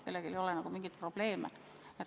Kellelgi ei ole nagu mingeid probleeme.